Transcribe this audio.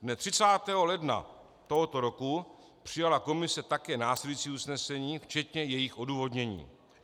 Dne 30. ledna tohoto roku přijala komise také následující usnesení, včetně jejich odůvodnění.